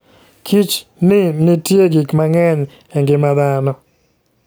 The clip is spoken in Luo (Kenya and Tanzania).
Kich ni nitie gik mang'eny e ngima dhano.